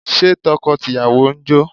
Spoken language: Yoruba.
Ṣé tọkọ tìyàwó ń jó?